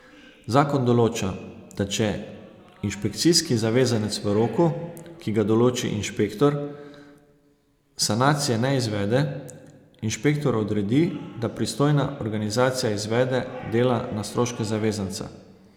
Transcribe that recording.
Zakon določa, da če inšpekcijski zavezanec v roku, ki ga določi inšpektor, sanacije ne izvede, inšpektor odredi, da pristojna organizacija izvede dela na stroške zavezanca.